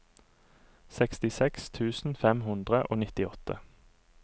sekstiseks tusen fem hundre og nittiåtte